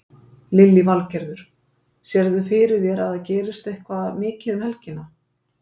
Lillý Valgerður: Sérð þú fyrir þér að það gerist eitthvað mikið um helgina?